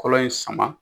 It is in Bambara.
Kɔlɔ in sama